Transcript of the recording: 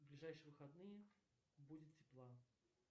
ближайшие выходные будет тепла